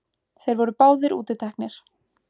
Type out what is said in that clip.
Þeir voru báðir útiteknir.